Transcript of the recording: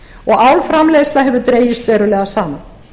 og álframleiðsla hefur dregist verulega saman